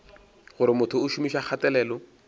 gore motho o šomiša kgatelelo